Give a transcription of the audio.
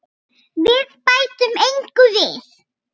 Við bætum engu við.